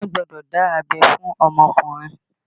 Wọn gbọ́dọ̀ dá abẹ́ fún ọmọkùnrin